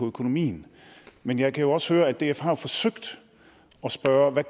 økonomien men jeg kan også høre at df har forsøgt at spørge hvad